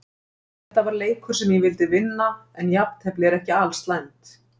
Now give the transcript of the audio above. Þetta var leikur sem ég vildi vinna, en jafntefli er ekki alslæmt.